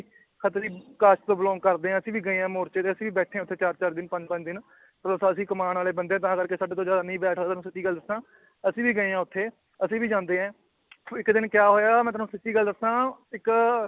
Khatri caste ਤੋਂ belong ਕਰਦੇ ਹਾਂ ਅਸੀਂ ਵੀ ਗਏ ਹਾਂ ਮੋਰਚੇ ਤੇ, ਅਸੀਂ ਬੈਠੇ ਹਾਂ ਉੱਥੇ ਚਾਰ ਚਾਰ ਦਿਨ ਪੰਜ ਪੰਜ ਦਿਨ ਉਹ ਤਾਂ ਅਸੀਂ ਕਮਾਉਣ ਵਾਲੇ ਬੰਦੇ ਹਾਂ ਤਾਂ ਕਰਕੇ ਸਾਡੇ ਤੋਂ ਜ਼ਿਆਦਾ ਬੈਠ ਹੋਇਆ ਤੁਹਾਨੂੰ ਸੱਚੀ ਗੱਲ ਦੱਸਾਂ ਅਸੀਂ ਵੀ ਗਏ ਹਾਂ ਉੱਥੇ ਅਸੀਂ ਵੀ ਜਾਂਦੇ ਹਾਂ ਇੱਕ ਦਿਨ ਕਿਆ ਹੋਇਆ ਮੈਂ ਤੁਹਾਨੂੰ ਸੱਚੀ ਗੱਲ ਦੱਸਾਂ ਇੱਕ